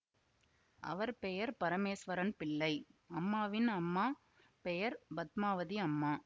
அவர் பெயர் பரமேஸ்வரன் பிள்ளை அம்மாவின் அம்மா பெயர் பத்மாவதி அம்மா